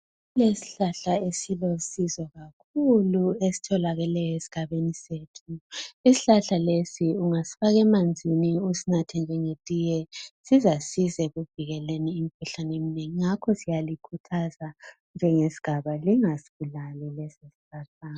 Kulesihlahla esilosizo kakhulu esitholakeleyo esigabeni sethu isihlahla lesi ungasifaka emanzini usunathe njengetiye sizasiza ekuvikeleni emikhuhlaneni eminengi ngakho siyalikhuthaza njengesigaba lingasibulali lesi sihlahla.